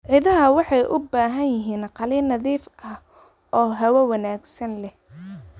Idaha waxay u baahan yihiin qalin nadiif ah oo hawo wanaagsan leh.